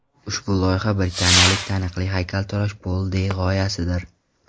Ushbu loyiha britaniyalik taniqli haykaltarosh Pol Dey g‘oyasidir.